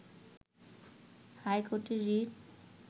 হাইকোর্টে রিট